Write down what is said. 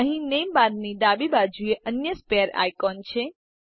અહી નેમ બારની ડાબી બાજુએ અન્ય સ્પેર આઇકોન છે